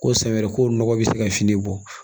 Ko san wɛrɛ ko nɔgɔ bɛ se ka fini bɔ